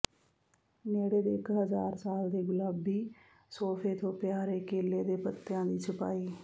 ਨੇੜੇ ਦੇ ਇਕ ਹਜ਼ਾਰ ਸਾਲ ਦੇ ਗੁਲਾਬੀ ਸੋਫੇ ਤੋਂ ਪਿਆਰੇ ਕੇਲੇ ਦੇ ਪੱਤਿਆਂ ਦੀ ਛਪਾਈ